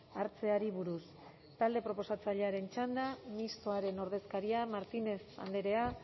hartzeari buruz talde proposatzailearen txanda mistoaren ordezkaria martínez andrea